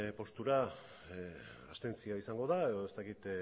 postura abstentzioa izango da edo ez dakit